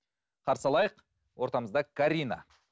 қарсы алайық ортамызда карина